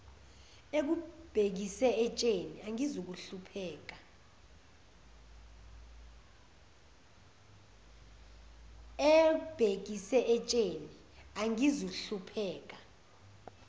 ebhekise entsheni angizuhlupheka